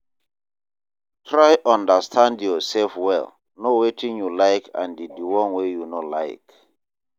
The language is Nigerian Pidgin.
Try understand your self well know wetin you like and di one wey you no like